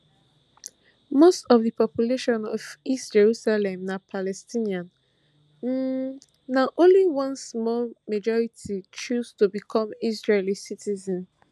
most of di population of east jerusalem na palestinian um na only one small minority choose to become israeli citizens